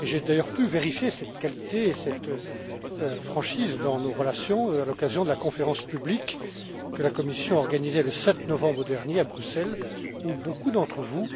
Et j'ai d'ailleurs pu vérifier cette qualité et cette franchise dans nos relations à l'occasion de la conférence publique que la Commission a organisée le 7 novembre dernier à Bruxelles, où beaucoup d'entre vous